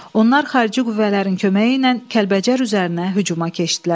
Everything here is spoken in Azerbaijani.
Onlar xarici qüvvələrin köməyi ilə Kəlbəcər üzərinə hücuma keçdilər.